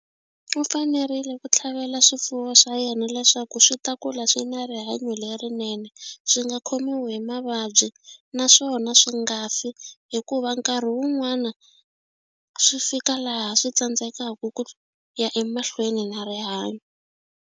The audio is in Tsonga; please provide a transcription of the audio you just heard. U fanerile ku tlhavela swifuwo swa yena leswaku swi ta kula swi na rihanyo lerinene swi nga khomiwi hi mavabyi naswona swi nga fi hikuva nkarhi wun'wani swi fika laha swi tsandzekaku ku ya emahlweni na rihanyo.